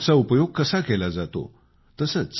स्वच्छता अॅपचा उपयोग कसा केला जातो